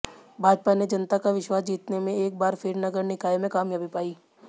भाजपा ने जनता का विश्वास जीतने में एक बार फिर नगर निकाय में कामयाबी पाई